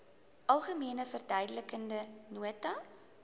algemene verduidelikende nota